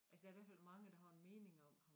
Altså der i hvert fald mange der har en mening om ham